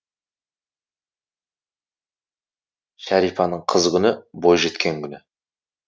шәрипаның қыз күні бой жеткен күні